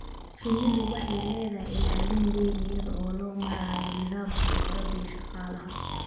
Shinnidu waxay leedahay ilaalin weyn iyada oo loo marayo nidaamka boqorada iyo shaqaalaha.